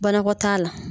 Banakɔtaa la